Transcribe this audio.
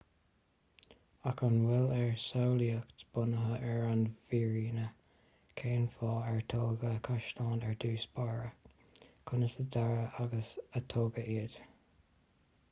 ach an bhfuil ár samhlaíocht bunaithe ar an bhfírinne cén fáth ar tógadh caisleáin ar dtús báire conas a dearadh agus a tógadh iad